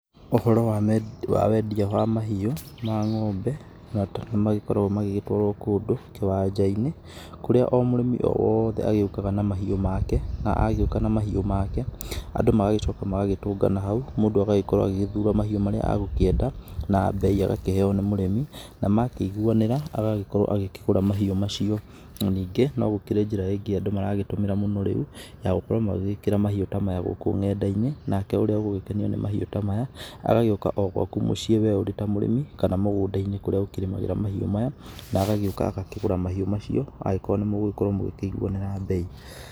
Ũhoro wa wendia wa mahiũ ma ng’ombe nĩ makoragwo magĩtwarwo kũndũ kĩwanja-inĩ, kũrĩa o mũrĩmi o wothe agĩũkaga na mahiũ make. Na agĩũka na mahiũ make andũ magagĩcoka magagĩtũngana hau mũndũ agagĩcoka agagĩthura mahiũ arakĩenda na mbei agakĩheo nĩ mũrĩmi. Na makĩiguanĩra agagĩkorwo agĩkĩgũra mahiũ macio. Na ningĩ no gũkĩrĩ njĩra ĩngĩ andũ maragĩtũmĩra mũno rĩu ya gũkorwo magĩgĩkĩra mahiũ ta maya gũkũ ng'enda-inĩ, nake ũrĩa ũgũgĩkenio nĩ mahiũ ta maya agagĩũka o gwaku mũciĩ wee ũrĩ ta mũrĩmi, kana mũgũnda-inĩ kũrĩa ũkĩrĩmagĩra mahiũ maya. Na agagĩũka agakĩgũra mahiũ macio angĩgĩkorwo nĩ mũgũkorwo mũgĩkĩiguanĩra mbei.